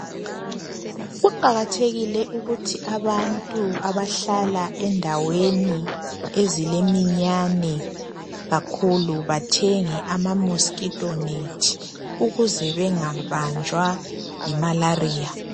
Kuqakathekile ukuthi abantu abahlala endaweni ezileminyane kakhulu bathenge ama mosquito net .Ukuze bengabanjwa yi malaria .